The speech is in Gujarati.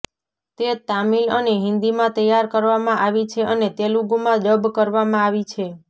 એ તામિલ અને હિન્દીમાં તૈયાર કરવામાં આવી છે અને તેલુગુમાં ડબ કરવામાં આવી છે